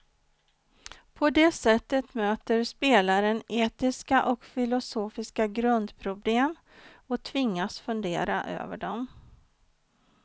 På det sättet möter spelaren etiska och filosofiska grundproblem och tvingas fundera över dem.